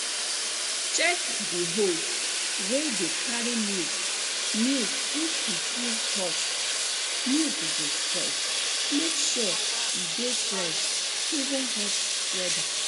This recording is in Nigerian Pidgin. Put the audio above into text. check di hose wey dey carry milk milk if e too hot milk go spoil make sure e dey fresh even hot weather